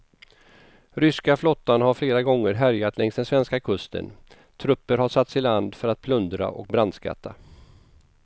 Ryska flottan har flera gånger härjat längs den svenska kusten, trupper har satts i land för att plundra och brandskatta.